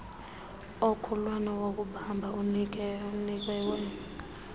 omkhulwana wokubamba unikiwe